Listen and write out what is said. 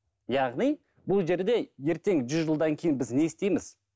яғни бұл жерде ертең жүз жылдан кейін біз не істейміз